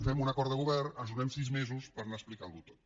fem un acord de govern ens donem sis mesos per anar explicant ho tot